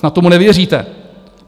Snad tomu nevěříte?